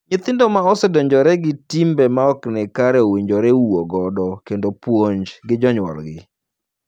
Nyithindo ma osedonjore gi timbe ma ok ni kare owinjore wuo godo kendo puonj gi jonyuolgi.